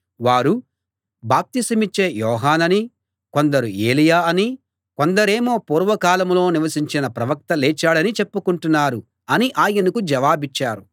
వారు బాప్తిసమిచ్చే యోహాననీ కొందరు ఏలీయా అనీ కొందరేమో పూర్వకాలంలో నివసించిన ప్రవక్త లేచాడనీ చెప్పుకుంటున్నారు అని ఆయనకు జవాబిచ్చారు